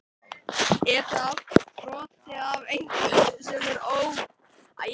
Er það allt sprottið af einhverju sem er ómeðvitað, einhverju dulvituðu?